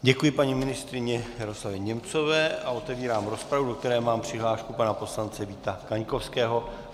Děkuji, paní ministryni Jaroslavě Němcové a otevírám rozpravu, do které mám přihlášku pana poslance Víta Kaňkovského.